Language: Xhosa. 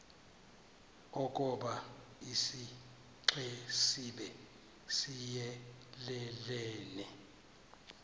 ukoba isixesibe siyelelene